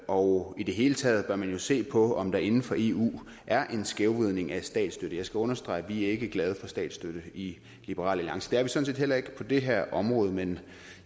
og i det hele taget bør man jo se på om der inden for eu er en skævvridning af statsstøtte jeg skal understrege at vi ikke er glade for statsstøtte i liberal alliance det er vi sådan set heller ikke på det her område men